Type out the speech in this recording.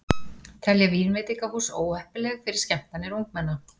Telja vínveitingahús óheppileg fyrir skemmtanir ungmenna